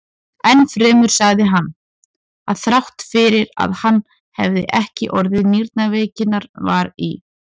Enn fremur sagði hann, að þrátt fyrir að hann hefði ekki orðið nýrnaveikinnar var í